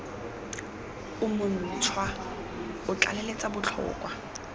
o montšhwa o tlaleletsa botlhokwa